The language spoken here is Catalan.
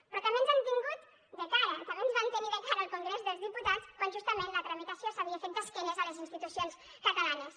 però també ens han tingut de cara també ens van tenir de cara al congrés dels diputats quan justament la tramitació s’havia fet d’esquena a les institucions catalanes